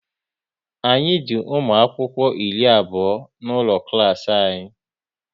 Anyị di ụmụ akwụkwọ iri abụọ n'ụlọ klas anyị